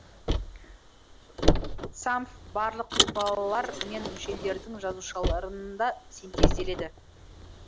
цамф барлық ұлпалар мен мүшелердің жасушаларында синтезделеді